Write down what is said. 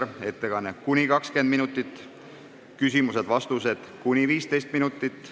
Tema ettekanne kestab kuni 20 minutit, küsimused ja vastused kestavad kuni 15 minutit.